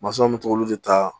Masɔnw bɛ t'olu de ta